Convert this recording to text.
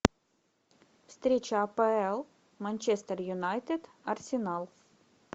встреча апл манчестер юнайтед арсенал